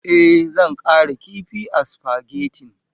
Eh zan ƙara kifi a supagetin.